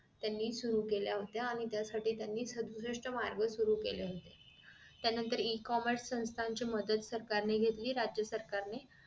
त्यांनी सुरु केल्या होत्या आणि त्यासाठी त्यानी मार्ग सुरु केले होते त्यानंतर e commerce संस्थांची मदत सरकारनी घेतली राज्य सरकारने